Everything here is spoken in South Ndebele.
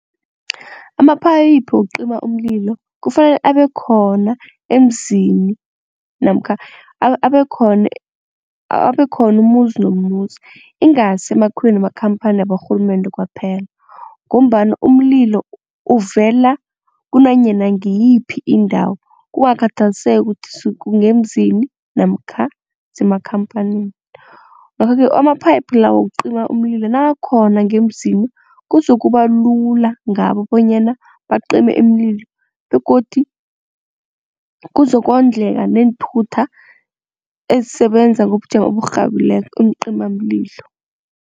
Amaphayiphi wokucima umlilo kufanele abe khona emzini namkha abe khona umuzi nomuzi, ingasi emakhiweni wamakhamphani waborhulumende kwaphela ngombana umlilo uvela kunanyana ngiyiphi indawo kungakhathaliseki ukuthi kungemzini namkha kusemakhamphanini. Ngakho-ke amaphayiphu lawo wokucima umlilo nakakhona ngemzini kuzokuba lula ngabo bonyana bacime umlilo begodu kuzokondleka neenthuthi ezisebenza ngobujamo oburhabileko beencimamlilo.